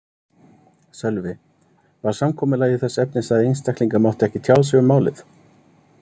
Sölvi: Var samkomulagið þess efnis að einstaklingar máttu ekki tjá sig um málið?